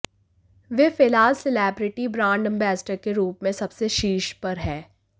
वे फिलहाल celebrity brand ambassador के रूप में सबसे शीर्ष पर है